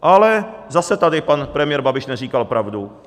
Ale zase tady pan premiér Babiš neříkal pravdu.